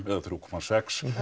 eða þrjú komma sex